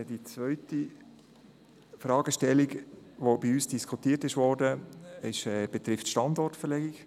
Die zweite Fragestellung, die bei uns diskutiert wurde, betrifft die Standortverlegung.